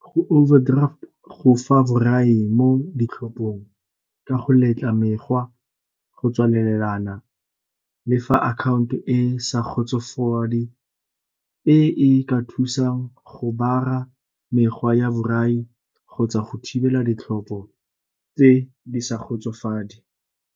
Go overdraft go fa borai mo ditlhophong ka go letla mekgwa, go tswalelana le fa akhaonto e sa e e ka thusang go mekgwa ya borai kgotsa go thibela ditlhopho tse di sa .